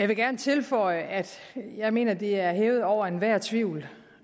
vil gerne tilføje at jeg mener det er hævet over enhver tvivl